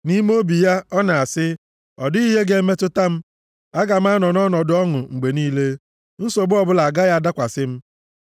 Nʼime obi ya, ọ na-asị, “Ọ dịghị ihe ga-emetụta m. Aga m anọ nʼọnọdụ ọṅụ mgbe niile. Nsogbu ọbụla agaghị adakwasị m.” + 10:6 Ọ na-asị nʼime obi ya, “Agaghị ewezuga m nʼọnọdụ m”; Ọ na-aṅụkwa iyi sị, “Ọ dịghị onye ọbụla ga-eme m ihe ọjọọ”